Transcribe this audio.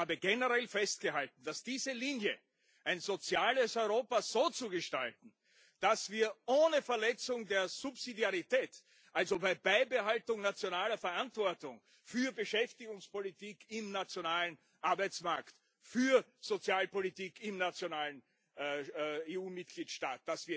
Ich habe generell festgehalten, dass wir diese Linie ein soziales Europa so zu gestalten, dass wir ohne Verletzung der Subsidiarität, also bei Beibehaltung nationaler Verantwortung für Beschäftigungspolitik im nationalen Arbeitsmarkt, für Sozialpolitik im nationalen EU Mitgliedstaat